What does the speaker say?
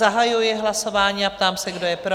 Zahajuji hlasování a ptám se, kdo je pro?